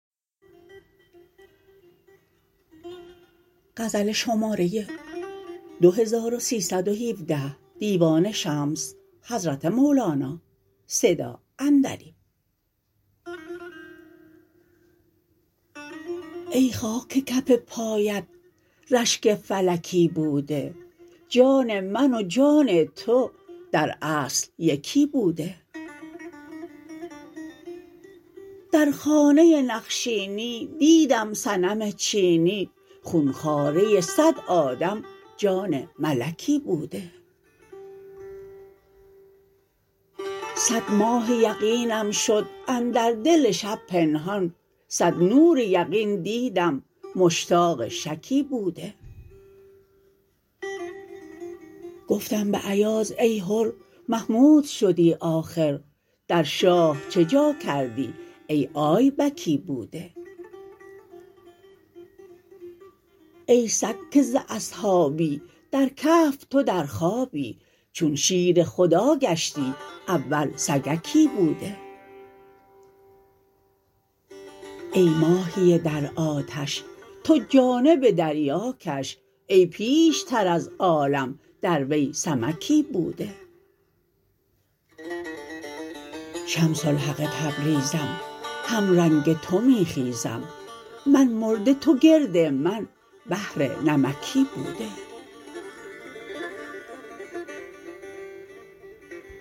ای خاک کف پایت رشک فلکی بوده جان من و جان تو در اصل یکی بوده در خانه نقشینی دیدم صنم چینی خون خواره صد آدم جان ملکی بوده صد ماه یقینم شد اندر دل شب پنهان صد نور یقین دیدم مشتاق شکی بوده گفتم به ایاز ای حر محمود شدی آخر در شاه چه جا کردی ای آیبکی بوده ای سگ که ز اصحابی در کهف تو در خوابی چون شیر خدا گشتی اول سگکی بوده ای ماهی در آتش تو جانب دریا کش ای پیشتر از عالم در وی سمکی بوده شمس الحق تبریزم همرنگ تو می خیزم من مرده تو گرد من بحر نمکی بوده